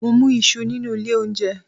Mo mú Isu nínú ilé oúnjẹ